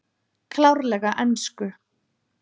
Klárlega ensku